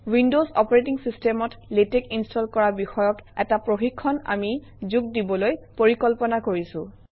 windows operating চিষ্টেমত LaTeX install কৰা বিষয়ক এটা প্ৰশিক্ষণ আমি যোগ দিবলৈ পৰিকল্পনা কৰিছোঁ